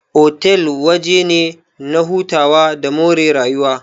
Otal waje ne na hutawa da more rayuwa.